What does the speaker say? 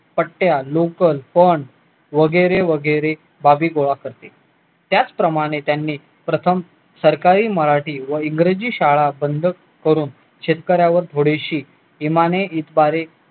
वगैरे वगैरे गोळा करते त्याच प्रमाणे प्रथम सरकारी मराठी व इंग्रजी शाळा बंद करून शेतकऱ्यावर थोडीशी इमानी इतबारे